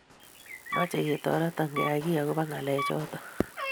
meche ketoreto keyay giiy agoba ngalechoto